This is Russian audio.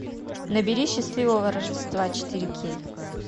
набери счастливого рождества четыре кей